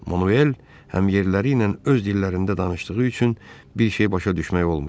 Manuel həm yerliləri ilə öz dillərində danışdığı üçün bir şey başa düşmək olmurdu.